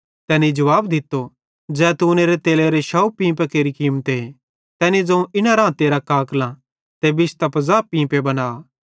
तैनी जुवाब दित्तो ज़ैतूनेरे तेलेरे 100 पींपां केरि कीमते तैनी ज़ोवं इना रां तेरां काकलां ते बिश्तां 50 पींपे बना